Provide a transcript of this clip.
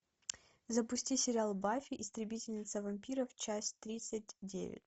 запусти сериал баффи истребительница вампиров часть тридцать девять